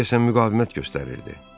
Qadın deyəsən müqavimət göstərirdi.